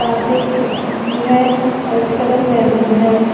साथ में एक खिड़की भी हैफर्श का रंग मैरून है।